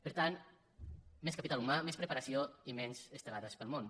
per tant més capital humà més preparació i menys estelades pel món